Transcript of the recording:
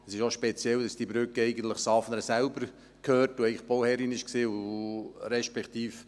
Es ist auch speziell, dass diese Brücke eigentlich Safnern selbst gehört, welches eigentlich Bauherrin war, respektive: